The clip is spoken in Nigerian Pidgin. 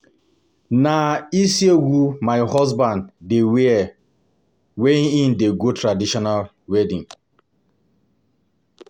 Na ishiagu my husband dey wear wen im dey go traditional wedding.